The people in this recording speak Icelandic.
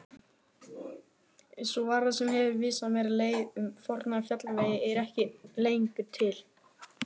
Sú varða sem hefur vísað mér leið um forna fjallvegi er ekki lengur til.